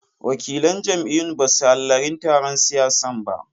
Wakilan jam'iyyun basu hallarin taron siyasan ba jiya.